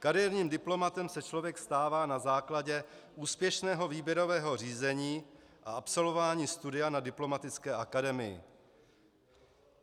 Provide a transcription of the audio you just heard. Kariérním diplomatem se člověk stává na základě úspěšného výběrového řízení a absolvování studia na diplomatické akademii.